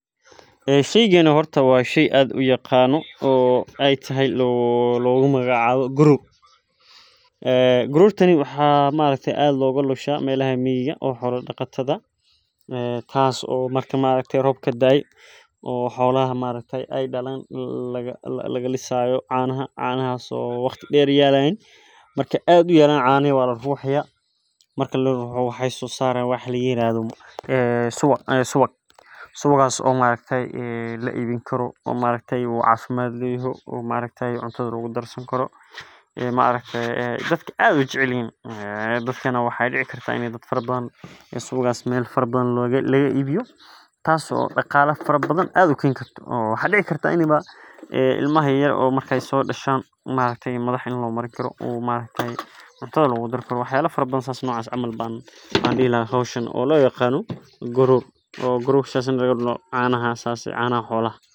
Ee sheygan horta waa shei aad u yaqano ee tahay lagu magac cawo garor garortani waxaa aad loga lusha melaha miga marka aad uyalan canaha waa lalulaya marka waxee sosarayan suwag suwagas oo lacelini karo oo cuntadha lagu darsani karo maaragte dadkana aad ee u jecelyihin dadkana maaragte ee isku wanagsan oo mela badan laga ibiyo tas oo daqala badan keni karto ilmaha marki ee so dashan canihi xolaha aya sas lo yaqana.